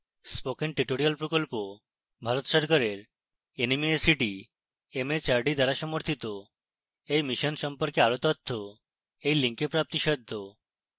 spoken tutorial প্রকল্প ভারত সরকারের nmeict mhrd দ্বারা সমর্থিত এই mission সম্পর্কে আরো তথ্য এই link প্রাপ্তিসাধ্য